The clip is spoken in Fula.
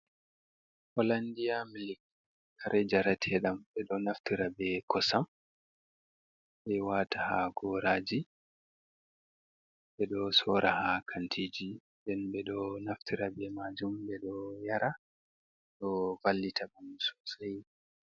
Hollandiya milik kare njarateɗam ɓeɗo naftira be kosam, ɓe wata ha goraji, ɓeɗo sora ha kantiji, nden ɓeɗo naftira be majum ɓeɗo yara ɗo vallita ɓandu sosai.